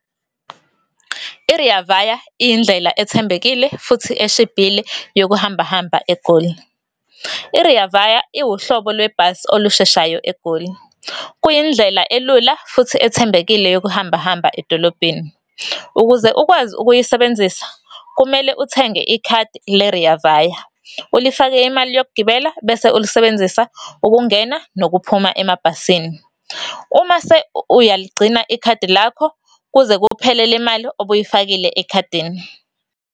I-Rea Vaya iyindlela ethembekile futhi eshibhile yokuhambahamba eGoli. I-Rea Vaya iwuhlobo lwebhasi olusheshayo eGoli. Kuyindlela elula futhi ethembekile yokuhambahamba edolobheni. Ukuze ukwazi ukuyisebenzisa, kumele uthenge ikhadi le-Rea Vaya, ulifake imali yokugibela bese ulisebenzisa ukungena nokuphuma emabhasini. Umase uyaligcina ikhadi lakho kuze kuphele le mali obuyifakile ekhadini.